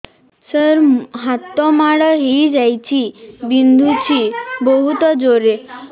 ସାର ହାତ ମାଡ଼ ହେଇଯାଇଛି ବିନ୍ଧୁଛି ବହୁତ ଜୋରରେ